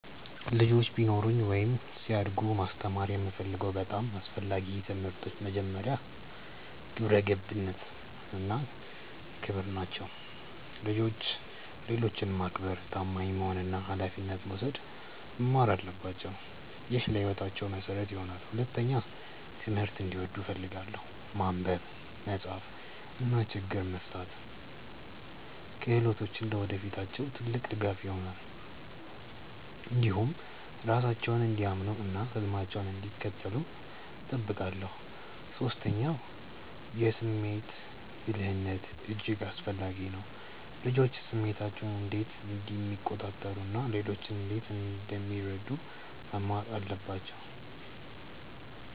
ልጆች ቢኖሩኝ ወይም ሲያድጉ ማስተማር የምፈልገው በጣም አስፈላጊ ትምህርቶች መጀመሪያ፣ ግብረ ገብነት እና ክብር ናቸው። ልጆች ሌሎችን ማክበር፣ ታማኝ መሆን እና ኃላፊነት መውሰድ መማር አለባቸው። ይህ ለሕይወታቸው መሠረት ይሆናል። ሁለተኛ፣ ትምህርትን እንዲወዱ እፈልጋለሁ። ማንበብ፣ መጻፍ እና ችግኝ መፍታት ክህሎቶች ለወደፊታቸው ትልቅ ድጋፍ ይሆናሉ። እንዲሁም ራሳቸውን እንዲያምኑ እና ህልማቸውን እንዲከተሉ እጠብቃለሁ። ሶስተኛ፣ የስሜት ብልህነት እጅግ አስፈላጊ ነው። ልጆች ስሜታቸውን እንዴት እንደሚቆጣጠሩ እና ሌሎችን እንዴት እንደሚረዱ መማር አለባቸው